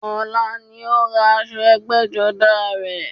Ọ̀la ni ó rán aṣọ ẹgbẹ́jọdá rẹ